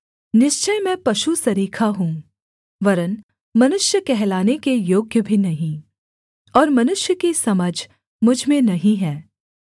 निश्चय मैं पशु सरीखा हूँ वरन् मनुष्य कहलाने के योग्य भी नहीं और मनुष्य की समझ मुझ में नहीं है